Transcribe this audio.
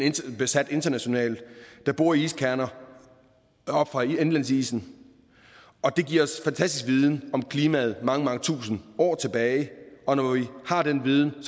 besat internationalt der borer iskerner op fra indlandsisen det giver os fantastisk viden om klimaet mange mange tusinde år tilbage og når vi har den viden